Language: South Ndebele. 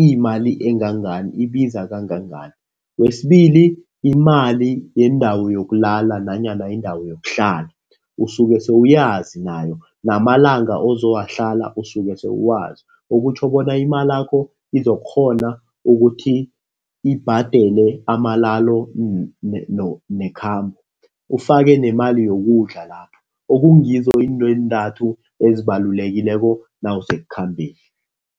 iyimali engangani, ibiza kangangani. Kwesibili imali yendawo yokulala nanyana indawo yokuhlala, usuke sewuyazi nayo, namalanga ozowahlala usuke sewuwazi. Okutjho bona imalakho izokukghona ukuthi ibhadele amalalo nekhambo, ufake nemali yokudla lapho. Okungasizo izinto eentathu ezibalulekileko nawusekukhambeni.